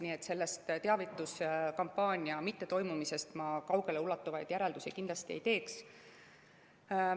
Nii et teavituskampaania mittetoimumisest ma kaugeleulatuvaid järeldusi kindlasti ei teeks.